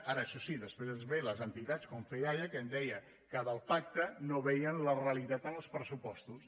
ara això sí després ens vénen les entitats com fedaia que em deia del pacte no veien la realitat en els pressupostos